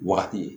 Wagati